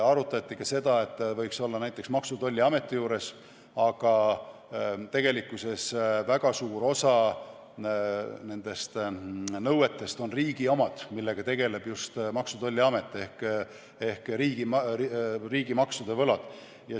Arutati ka seda, et ta võiks olla näiteks Maksu- ja Tolliameti juures, aga tegelikkuses väga suur osa nendest nõuetest on riigi omad, millega tegeleb just Maksu- ja Tolliamet ehk riigimaksude võlad.